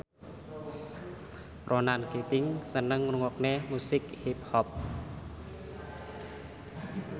Ronan Keating seneng ngrungokne musik hip hop